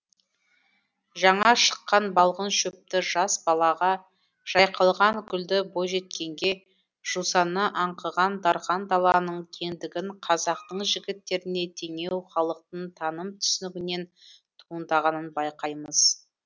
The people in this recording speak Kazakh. жаңа шыққан балғын шөпті жас балаға жайқалған гүлді бойжеткенге жусаны аңқыған дарқан даланың кеңдігін қазақтың жігіттеріне теңеуі халықтың таным түсінігінен туындағанын байқаймыз